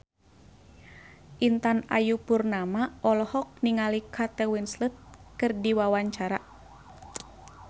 Intan Ayu Purnama olohok ningali Kate Winslet keur diwawancara